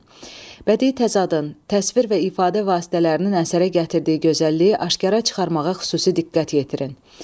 Bədii təzadın, təsvir və ifadə vasitələrinin əsərə gətirdiyi gözəlliyi aşkara çıxarmağa xüsusi diqqət yetirin.